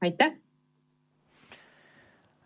Aitäh!